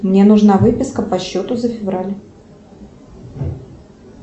мне нужна выписка по счету за февраль